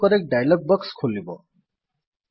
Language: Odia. ଅଟୋକରେକ୍ଟ୍ ଡାୟଲଗ୍ ବକ୍ସ ଖୋଲିବ